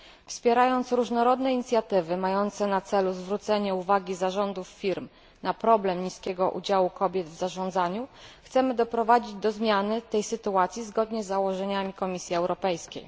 Wspierając różnorodne inicjatywy mające na celu zwrócenie uwagi zarządów firm na problem niskiego udziału kobiet w zarządzaniu, chcemy doprowadzić do zmiany tej sytuacji zgodnie z założeniami Komisji Europejskiej.